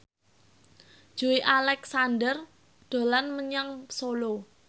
Joey Alexander dolan menyang Solo